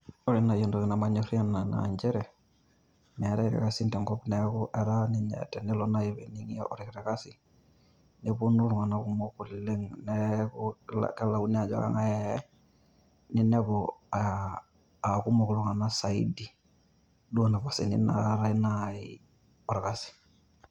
Ore nai entoki namanyorrie ena naa nchere, meetae irkasin tenkop neeku tenelo ninye naii nening'i orkiti Kasi neponu iltung'anak kumok oleng' neeku kelakinoi ajo kang'ai eyai ninepu a kumok iltung'anak saidii alang' inapasini naii naatae orkasi.